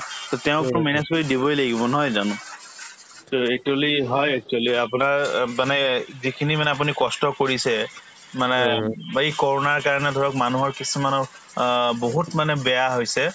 to তেওঁকো manage কৰি দিবই লাগিব নহয় জানো to actually হয় actually আপোনাৰ অ ব মানে এই যিখিনি মানে আপুনি কষ্ট কৰিছে মানে বা এই কৰোণাৰ কাৰণে ধৰক মানুহৰ কিছুমানৰ অ বহুত মানে বেয়া হৈছে